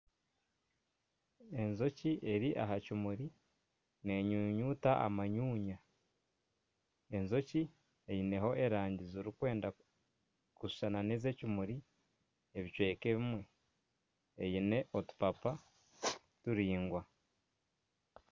Enjoki eri aha kimuri neenyunyuta amanyunya, enjoki eine erangi zirikwenda kushushana n'ez'ekimuri ebicweka ebimwe ziine otupapa turingwa